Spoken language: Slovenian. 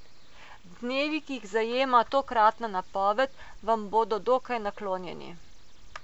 Dnevi, ki jih zajema tokratna napoved, vam bodo dokaj naklonjeni.